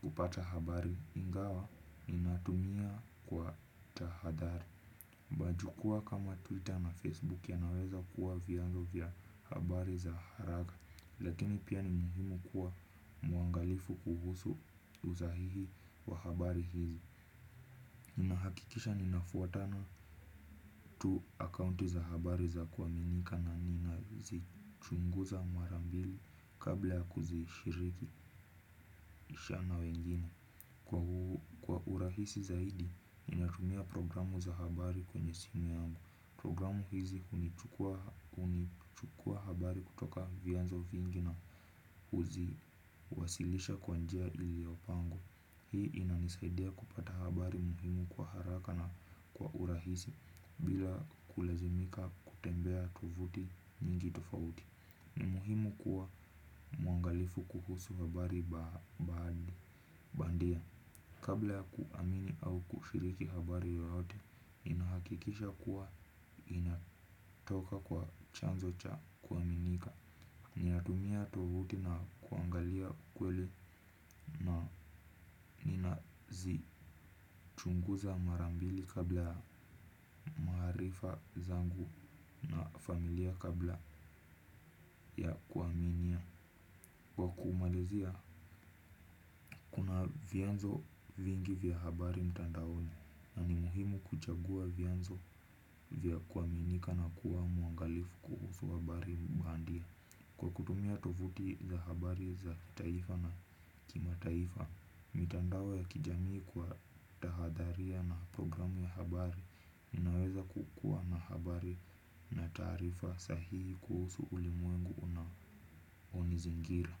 kupata habari ingawa inatumia kwa tahadhari. Bajukua kama Twitter na Facebook ya naweza kuwa viyanzo vya habari za haraka. Lakini pia ni muhimu kuwa muangalifu kuhusu uzahihi wa habari hizi. Ninahakikisha ninafuatana tu akaunti za habari za kuaminika na nina zichunguza marambili kabla ya kuzishiriki na wengine kwa urahisi zaidi natumia programu za habari kwenye simu yangu programu hizi hunichukua habari kutoka vianzo vingi na huziwasilisha kwa njia iliyopangwa. Hii inanisaidia kupata habari muhimu kwa haraka na kwa urahisi bila kulazimika kutembea tuvuti nyingi tofauti. Ni muhimu kuwa muangalifu kuhusu habari bandia Bandia. Kabla ya kuamini au kushiriki habari yoyote inahakikisha kuwa inatoka kwa chanzo cha kuaminika. Ninatumia tovuti na kuangalia kweli. Na nina zi chunguza marambili kabla ya maarifa zangu na familia kabla ya kuaminia. Kwa kumalizia una vianzo vingi vya habari mtandaoni. Na ni muhimu kuchagua vianzo vya kuaminika na kuwa muangalifu kuhusu habari bandia. Kwa kutumia tovuti za habari za taifa na kimataifa. Mitandao ya kijamii kwa tahadharia na programu ya habari inaweza kukua na habari na taarifa sahihi kuhusu ulimwengu unaonizingira.